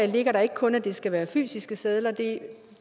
ligger der ikke kun at det skal være fysiske sedler